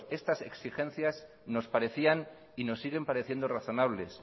estas exigencias nos parecían y nos siguen pareciendo razonables